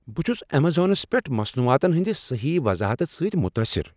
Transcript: بہٕ چھس امیزانس پیٹھ مصنوعاتن ہٕنٛد صحیح وضاحتہٕ سۭتۍ متٲثر۔